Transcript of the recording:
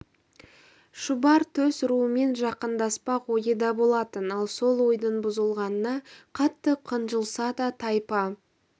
шұбар төс руымен жақындаспақ ойы да болатын ал сол ойдың бұзылғанына қатты қынжылса да тайпа